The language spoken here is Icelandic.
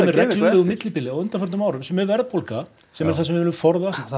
reglulegu millibili á undanförnum árum sem er verðbólga sem er það sem við viljum forðast